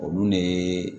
Olu ne